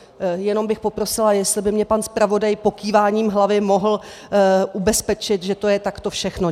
Jenom bych poprosila, jestli by mě pan zpravodaj pokýváním hlavy mohl ubezpečit, že to je takto všechno.